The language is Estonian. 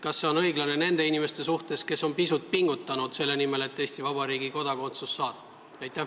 Kas see on õiglane nende inimeste suhtes, kes on pisut pingutanud selle nimel, et Eesti Vabariigi kodakondsus saada?